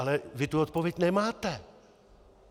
Ale vy tu odpověď nemáte.